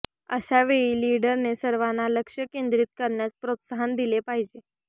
अशावेळी लीडरने सर्वांना लक्ष केंद्रित करण्यास प्रोत्साहन दिले पाहिजे